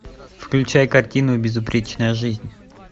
включай картину безупречная жизнь